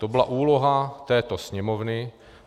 To byla úloha této Sněmovny.